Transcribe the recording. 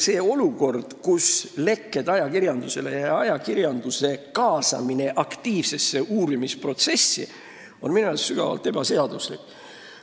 See olukord, kus info lekib ajakirjandusse ja ajakirjandus kaasatakse aktiivsesse uurimisprotsessi, on minu arust sügavalt ebaseaduslik.